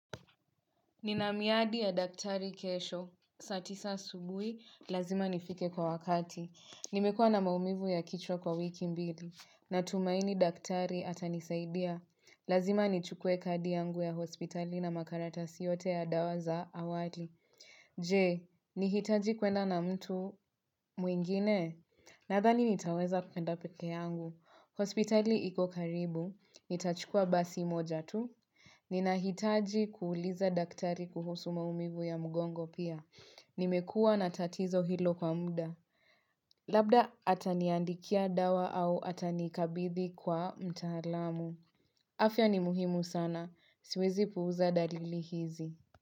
Ninamiadi ya daktari kesho, saa tisa asubuhi, lazima nifike kwa wakati. Nimekuwa na maumivu ya kichwa kwa wiki mbili natumaini daktari atanisaidia. Lazima nichukue kadi yangu ya hospitali na makaratasi yote ya dawa za awali. Je, nihitaji kwenda na mtu mwingine? Nadhani nitaweza kwenda peke yangu. Hospitali iko karibu, nitachukua basi moja tu. Ninahitaji kuuliza daktari kuhusu maumivu ya mgongo pia. Nimekuwa na tatizo hilo kwa muda. Labda ataniandikia dawa au atanikabidhi kwa mtaalamu. Afya ni muhimu sana. Siwezi puuza dalili hizi.